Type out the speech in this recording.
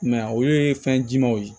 I m'a ye olu ye fɛn jimanw ye